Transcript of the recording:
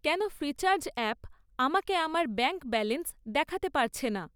কেন Freecharge app আমাকে আমার ব্যাঙ্ক ব্যালেন্স দেখাতে পারছে না?